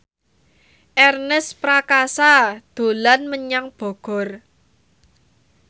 Ernest Prakasa dolan menyang Bogor